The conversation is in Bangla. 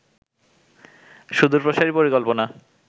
সুদূর প্রসারী পরিকল্পনা